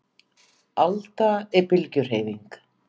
Alda er bylgjuhreyfing.